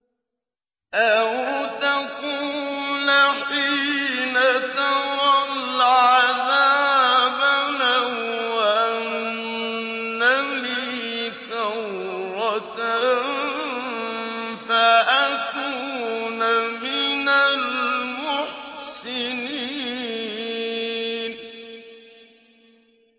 أَوْ تَقُولَ حِينَ تَرَى الْعَذَابَ لَوْ أَنَّ لِي كَرَّةً فَأَكُونَ مِنَ الْمُحْسِنِينَ